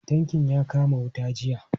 Tankin ya kama wuta a jiya.